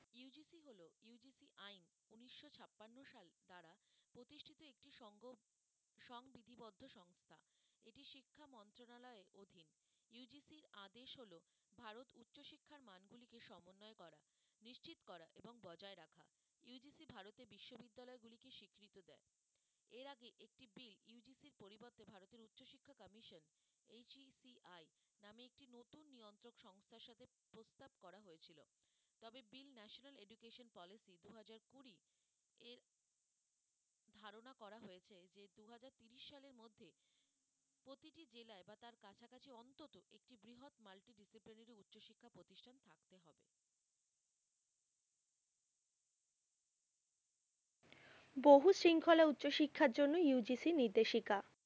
বহু শৃঙ্খলা উচ্চশিক্ষার জন্য UGC নির্দেশিকা